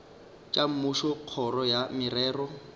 tša mmušo kgoro ya merero